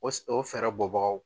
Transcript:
O o fɛɛrɛ bɔ bagaw